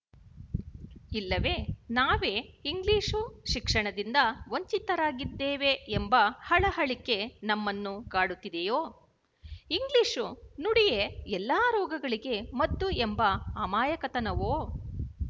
ಇಲ್ಲವೇ ನಾವೇ ಇಂಗ್ಲಿಶು ಶಿಕ್ಷಣದಿಂದ ವಂಚಿತರಾಗಿದ್ದೇವೆ ಎಂಬ ಹಳಹಳಿಕೆ ನಮ್ಮನ್ನು ಕಾಡುತ್ತಿದೆಯೋ ಇಂಗ್ಲಿಶು ನುಡಿಯೇ ಎಲ್ಲ ರೋಗಗಳಿಗೆ ಮದ್ದು ಎಂಬ ಅಮಾಯಕತನವೋ